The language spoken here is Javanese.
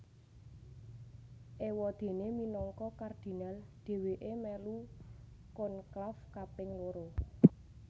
Éwadéné minangka kardinal dhèwèké mèlu konklaf kaping loro